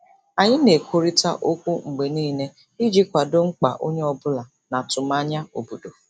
Anyị na-ekwurịta okwu mgbe niile iji kwado mkpa onye ọ bụla na atụmanya obodo.